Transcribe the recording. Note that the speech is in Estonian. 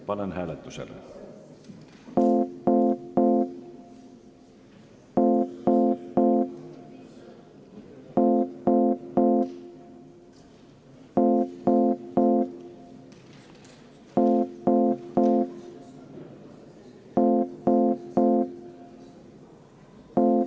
Panen hääletusele.